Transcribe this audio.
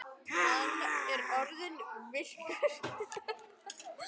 Hann er orðinn virkur þátttakandi í ferli nútímans.